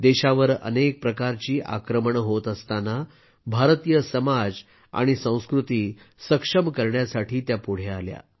देशावर अनेक प्रकारची आक्रमणं होत असताना भारतीय समाज आणि संस्कृती सक्षम करण्यासाठी त्या पुढे आल्या